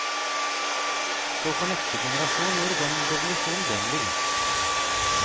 Så får neste generasjon gjøre den revolusjonen den vil.